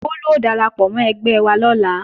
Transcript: Bólú ó darapọ̀ mọ́ ẹgbẹ́ wa lọ́la